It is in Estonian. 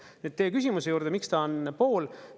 Nüüd teie küsimuse juurde, miks ta on pool.